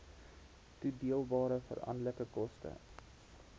toedeelbare veranderlike koste